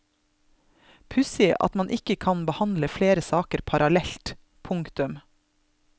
Pussig at man ikke kan behandle flere saker parallelt. punktum